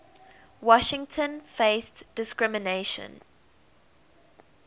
washington faced discrimination